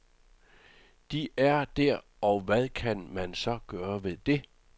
De er der og hvad kan man så gøre ved det.